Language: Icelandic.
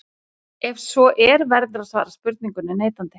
Ef svo er verður að svara spurningunni neitandi.